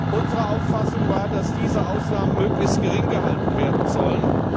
Unsere Auffassung war, dass diese Ausnahmen möglichst gering gehalten werden